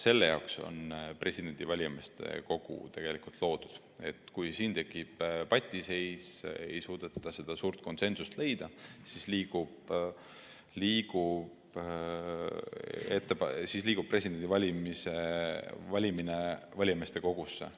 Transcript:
Selle jaoks ongi presidendi valijameeste kogu tegelikult loodud, et kui siin tekib patiseis ja ei suudeta suurt konsensust leida, siis liigub presidendi valimine valijameeste kogusse.